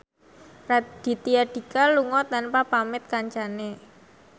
Raditya Dika lunga tanpa pamit kancane